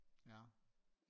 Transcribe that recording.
ja